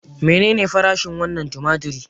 Menene farashin wannan tumatir?